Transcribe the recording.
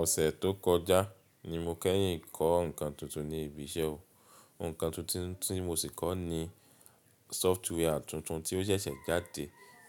Ọ̀sẹ̀ tó kọjá ni mo kẹ́yìn kọ́ nǹkan tuntun ní ibi iṣẹ́ wa. Ǹkan tuntun tí mo sì kọ ní software tuntun tí ó ṣẹ̀ṣẹ̀ jáde